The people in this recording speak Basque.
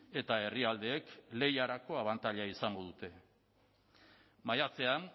eta herrialdeek lehiarako abantaila izango dute maiatzean